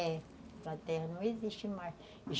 É, a terra não existe mais.